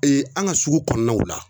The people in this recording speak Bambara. Ee an ga sugu kɔnɔnaw la